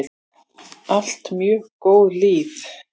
Allt mjög góð lið.